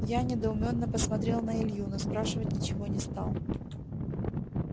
я недоуменно посмотрел на илью но спрашивать ничего не стал